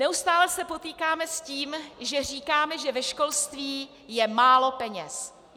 Neustále se potýkáme s tím, že říkáme, že ve školství je málo peněz.